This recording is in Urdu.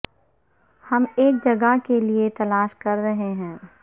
ہم ایک جگہ کے لئے تلاش کر رہے ہیں